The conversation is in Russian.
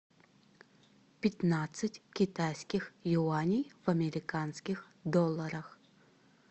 пятнадцать китайских юаней в американских долларах